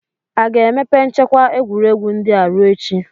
Aga-emepe nchekwa egwuregwu ndị a ruo echi?